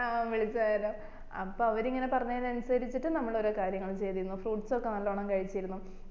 ആ വിളിച്ചർന്നു അപ്പൊ അവര് ഇങ്ങനെ പറഞ്ഞേയിൻ അനുസരിച്ചിട്ട് നമ്മള് ഓരോ കാര്യങ്ങളും ചെയ്തുനു fruits ഒക്കെ നല്ലോണം കഴിച്ചിരുന്നു